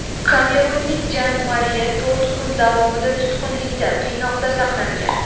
Kamerunlik Jan Mariye to‘rt kun davomida tutqunlikda, qiynoqda saqlangan.